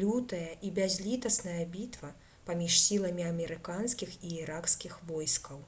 лютая і бязлітасная бітва паміж сіламі амерыканскіх і іракскіх войскаў